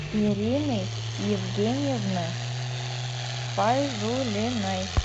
ирины евгеньевны файзулиной